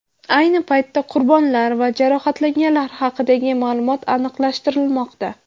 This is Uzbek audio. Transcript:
Ayni paytda qurbonlar va jarohatlanganlar haqidagi ma’lumot aniqlashtirilmoqda.